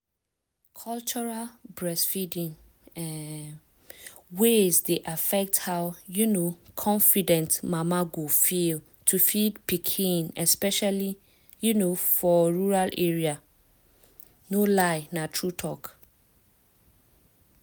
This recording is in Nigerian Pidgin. cultural breastfeeding um ways dey affect how um confident mama go feel to feed pikin especially um for rural area. no lie na true talk.